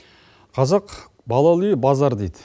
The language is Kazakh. қазақ балалы үй базар дейді